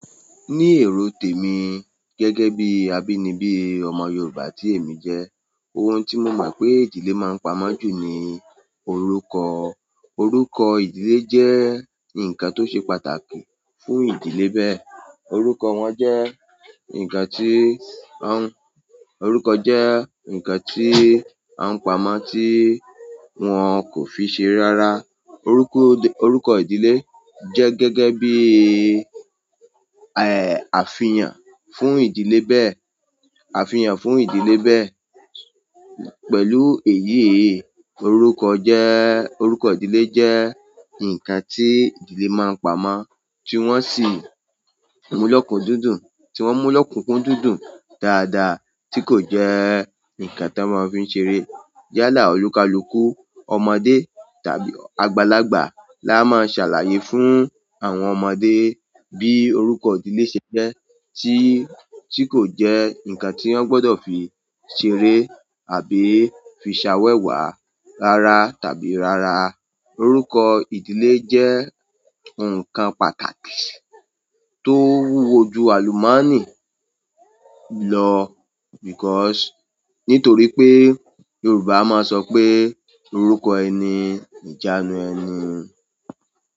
Ní èrò tèmi gẹ́gẹ́ bí abínibí ọmọ yorùbá tí èmi jẹ́ ohun tí mo mo pé ìdílé máa ń pamọ́ jù ní orúkọ. Orúkọ ìdílé jẹ́ ǹkan tó ṣe pàtàkì fún ìdílé bẹ́ẹ̀. Orúkọ wọn jẹ́ ǹkan tí, orúkọ jẹ́ ǹkan tí à ń pamọ́ tí wọ́n kò fi ṣere rárá. Orúkọ ìdílé jẹ́ gẹ́gẹ́ bí, àfihàn fún ìdílé bẹ́ẹ̀, àfihàn fún ìdílé bẹ́ẹ̀. Pẹ̀lú èyíi orúkọ ìdílé jẹ́ ǹkan tí ìdílé máa ń pamọ́ tí wọn sì mú lokukudun dáadáa, tí kò jẹ ǹkan tí wọ́n máa ń fi ṣeré yálà olúkalúkù, ọmọdé tàbí àgbàlagbà la máa ṣàlàyé fún àwọn ọmọdé bí orúkọ ìdílé ṣe jẹ́, tí, tí kò jẹ́ ǹkan tí wọ́n gbọdọ̀ fi ṣeré àbí fi ṣàwẹ̀wà rárá tàbí rárá. Orúkọ ìdílé jẹ́ ǹkan pàtàkì tó wúwo jù àlùmọ́nì lọ, because nítorí pé yorùbá máa ń sope orúkọ ẹni, ni ijaanu ẹni.